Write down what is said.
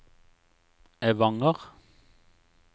Evanger